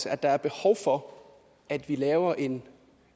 at der er behov for at vi laver en